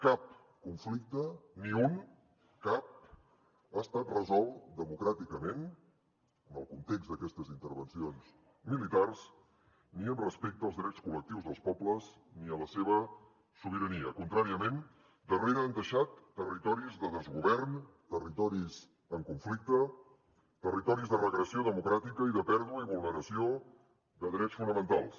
cap conflicte ni un cap ha estat resolt democràticament en el context d’aquestes intervencions militars ni amb respecte als drets col·lectius dels pobles ni a la seva sobirania contràriament darrere han deixat territoris de desgovern territoris en conflicte territoris de regressió democràtica i de pèrdua i vulneració de drets fonamentals